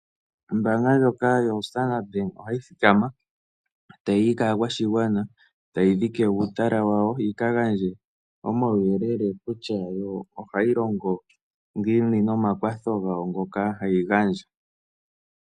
Ombaanga ndjoka yoStandard Bank ohayi thikama tayi yi kaakwashigwana, tayi dhike uutala wawo yi ka gandje omawuyelele kutya yo ohayi longo ngiini nomakwatho gawo ngoka hayi gandja.